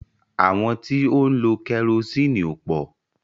Àwọn tí ó ń lọ kẹrosiini ò pò.